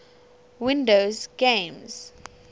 windows games